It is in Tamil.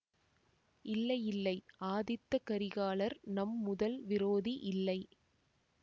இல்லை இல்லை ஆதித்த கரிகாலர் நம் முதல் விரோதி இல்லை